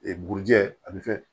buruji a bɛ kɛ